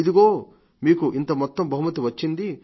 ఇదిగో మీకు ఇంత మొత్తం బహుమతి వచ్చింది